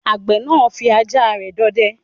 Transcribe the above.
Àgbẹ̀ náà fí ajá rẹ̀ dọdẹ